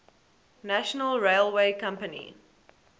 national railway company